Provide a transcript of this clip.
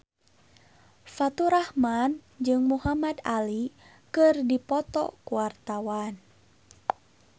Faturrahman jeung Muhamad Ali keur dipoto ku wartawan